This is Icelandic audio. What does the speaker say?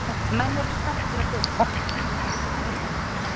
Menn eru spenntir að byrja, sagði Þorvaldur.